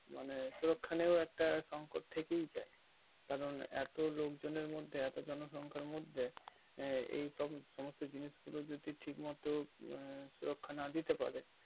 মানে সুরুক্ষানের একটা সংকট থেকেই যাই কারণ এত লোকজনের মধ্যে এত জন সংখ্যার মধ্যে আঃ এইসমস্ত জিনিস গুলো যদি ঠিক মতো সুরুক্ষা না দিতে পারে